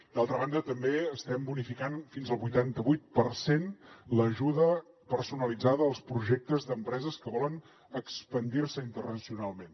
d’altra banda també estem bonificant fins al vuitanta vuit per cent l’ajuda personalitzada als projectes d’empreses que volen expandir se internacionalment